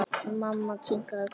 Mamma kinkaði kolli.